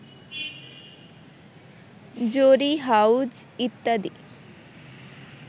জরি হাউস ইত্যাদি